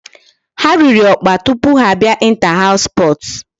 Ha riri ọkpa tupu ha abịa inter house sports.